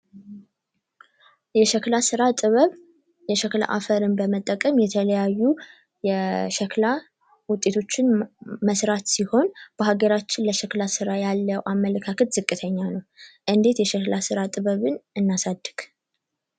የሸክላ ስራ ጥበብ የሸክላ አፈርን በመጠቀም የተለያዩ የሸክላ ውጤቶችን መስራት ሲሆን በሀገራችን ለሸክላ ስራ ያለው አመለካከት ዝቅተኛ ነው። እንዴት የሸክላ ስራ ጥበብ እናሳድግ?